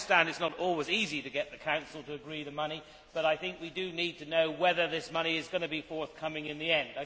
I understand it is not always easy to get the Council to agree to the money but we do need to know whether this money is going to be forthcoming in the end.